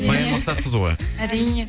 баян мақсатқызы ғой әрине